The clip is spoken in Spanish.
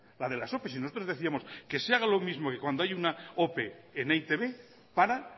la de las opes si nosotros decíamos que se haga lo mismo que cuando hay una ope en e i te be para